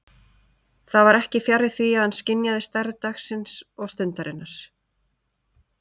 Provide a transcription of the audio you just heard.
Það var ekki fjarri því að hann skynjaði stærð dagsins og stundarinnar.